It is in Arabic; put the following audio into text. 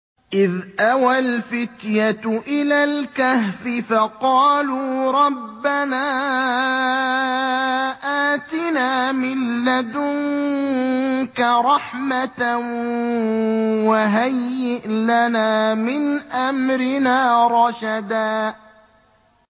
إِذْ أَوَى الْفِتْيَةُ إِلَى الْكَهْفِ فَقَالُوا رَبَّنَا آتِنَا مِن لَّدُنكَ رَحْمَةً وَهَيِّئْ لَنَا مِنْ أَمْرِنَا رَشَدًا